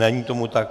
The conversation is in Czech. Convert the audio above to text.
Není tomu tak.